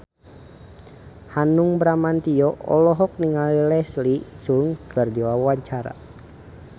Hanung Bramantyo olohok ningali Leslie Cheung keur diwawancara